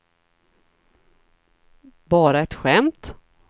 bara ett skämt